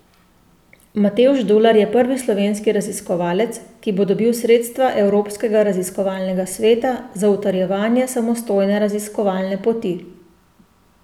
Matevž Dular je prvi slovenski raziskovalec, ki bo dobil sredstva Evropskega raziskovalnega sveta za utrjevanje samostojne raziskovalne poti.